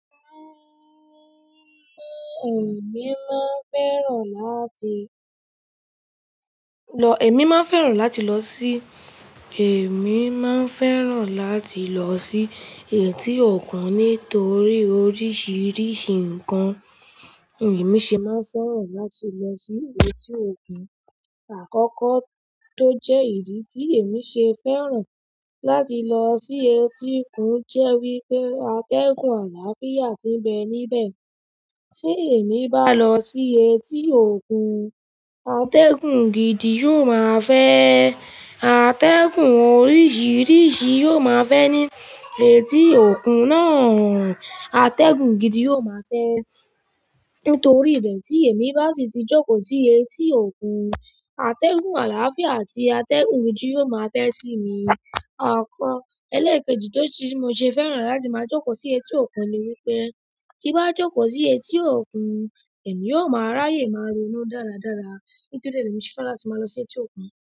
Ẹ̀mi máa ń fẹ́ràn láti lọ, ẹ̀mí máa ń fẹ́ràn láti lọ sí, èmi máa n fẹ́ràn láti lọ sí etí ọ̀kun nítorí oríṣiríṣi nǹkan, èmi ṣe máa fẹ́ràn láti lọ sí etí ọ̀kun. Àkọ́kọ́ tó jẹ́ ìdí tí èmi ṣe fẹ́ràn láti lọ sí etí kun jẹ́ wí pé, atẹ́gùn àlàáfíà ti ń bẹ níbẹ̀. Tí èmi bá lọ sí etí ọ̀kun, atẹ́gùn gidi yóò máa fẹ́, àtẹ́gùn oríṣiríṣi yóò máa fẹ́ ní etí ọ̀kun náà, atẹ́gùn gidi yóò máa fẹ́. Ntorí ibe tí èmi bá si ti jókòó sí etí ọ̀kun, atẹ́gùn àlàáfíà àti atẹ́gùn gidi yóò máa fẹ́ síi mi. Àkọ́ ẹlẹ́ẹ̀kejì tó si tí mo ṣe fẹ́ràn láti máa jókòó sí etí ọ̀kun ni wí pé, ti bá jókòó sí etí ọ̀kun, èmi yóò máa ráyè máa ronú dáradára. Ntorí e lẹ̀ mi ṣe fẹ́ràn láti máa lọ sí etí ọ̀kun.